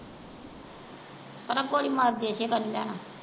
ਪਰਾਂ ਕੌੜੀ ਮਰਜੇ ਏਹਦੇ ਤੋਂ ਨਹੀਂ ਲੈਣਾ।